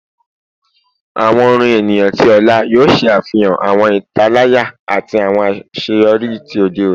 Awọn orin eniyan ti ọla yoo ṣe afihan awọn italaya ati awọn aṣeyọri ti ode oni